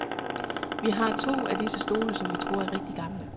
Vi har to af disse stole, som vi tror er rigtigt gamle.